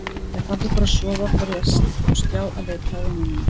Þegar pabbi fór að sofa fór ég á stjá að leita að vinum mínum.